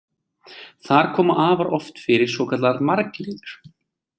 Þar koma afar oft fyrir svokallaðar margliður.